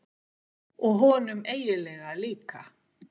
Og honum eiginlega líka.